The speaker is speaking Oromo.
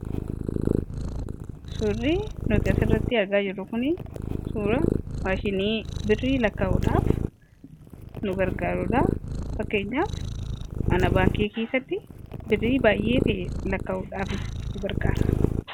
Suurri nuti asirratti argaa jirru kun suuraa maashinii birrii lakkaa'uudhaaf nu gargaaruudha. Fakkeenyaaf, mana baankii keessatti birrii baay'ee ta'e lakkaa'uudhaaf nu gargaara.